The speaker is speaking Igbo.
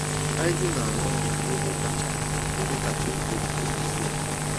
Haide na-arụ ọrụ n'ebe kacha n'ebe kacha ekwo ekwo n'isi obodo.